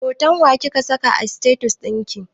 Hoton wa kika saka a status ɗinki?